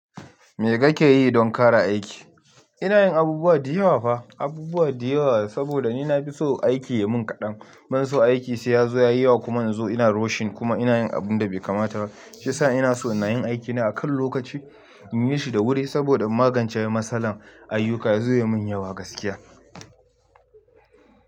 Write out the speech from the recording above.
Me kake yi don ƙara aiki? Ina yin abubuwa da yawa fa, abubuwa da yawa. Saboda ni na fi so aiki ya mun kadan. Ban so aiki sai ya zo ya yi wa kuma yanzu ina rushing kuma ina yin abun da bai kamata ba. Shi ya sa ina so na yi aikina a kan lokaci in yi shi da wuri saboda in magance matsalan ayuka ya zo ya mun yawa gaskiya.